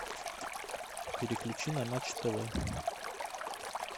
переключи на матч тв